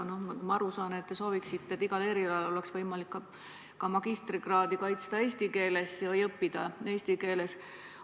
Nagu ma aru saan, te soovite, et igal erialal oleks võimalik ka magistrikraadi kaitsta eesti keeles ehk siis õppida eesti keeles.